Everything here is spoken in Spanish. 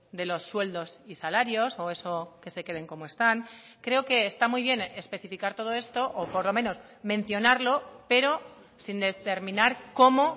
de los sueldos y salarios o eso que se queden como están creo que está muy bien especificar todo esto o por lo menos mencionarlo pero sin determinar cómo